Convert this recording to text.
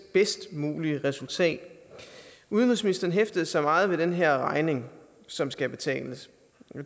bedst mulige resultat udenrigsministeren hæftede sig meget ved den her regning som skal betales